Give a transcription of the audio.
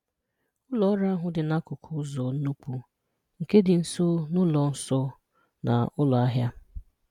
Ụlọ ọrụ ahụ dị n’akụkụ ụzọ n'ụkwụ, nke dị nso na ụlọ nso na ụlọ ahịa.